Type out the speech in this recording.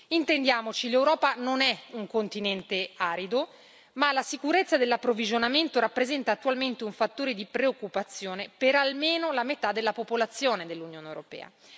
Intendiamoci l'Europa non è un continente arido, ma la sicurezza dell'approvvigionamento rappresenta attualmente un fattore di preoccupazione per almeno la metà della popolazione dell'Unione europea.